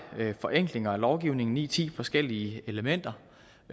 forenklinger af lovgivningen ni ti forskellige elementer